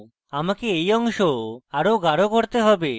আমাকে এই অংশ আরো গাঢ় করতে have